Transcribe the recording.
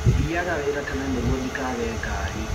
Thiaga wĩra tene nĩguo ndikage ngari.